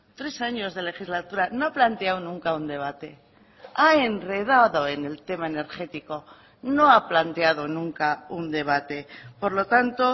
tres años de legislatura no ha planteado nunca un debate ha enredado en el tema energético no ha planteado nunca un debate por lo tanto